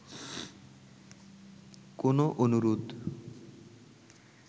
কোন অনুরোধ